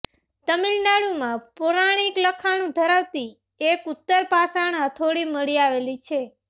તમિલનાડુમાં પૌરાણિક લખાણ ધરાવતી એક ઉત્તરપાષાણ હથોડી મળી આવેલી છે